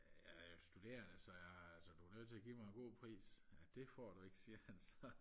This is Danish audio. øh jeg er studerende så jeg så du er nødt til at give mig en god pris ja det får du ikke siger han så